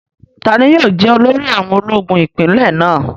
Tani yóò jẹ́ olórí àwọn ológun ipinlẹ̀ náà?